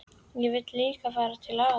Ég vil líka fara til afa!